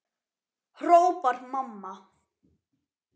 hrópar mamma.